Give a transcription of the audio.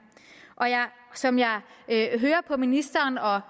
og som jeg hører på ministeren og